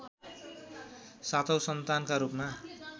सातौँ सन्तानका रूपमा